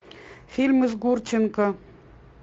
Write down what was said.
фильмы с гурченко